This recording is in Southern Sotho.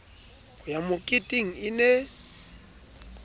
ho ya moketeng e ne